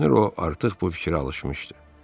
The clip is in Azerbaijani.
Görünür o artıq bu fikrə alışmışdı.